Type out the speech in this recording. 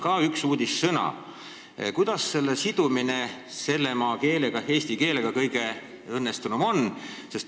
Kas uudissõna "taristu" sidumine eesti keelega on kõige õnnestunum?